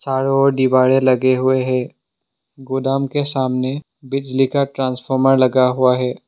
चारों ओर डिवाइडर लगे हुए हैं गोदाम के सामने बिजली का ट्रांसफार्मर लगा हुआ है।